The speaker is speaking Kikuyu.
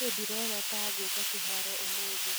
Niĩ ndĩrona ta ngũka kĩharo ũmũthĩ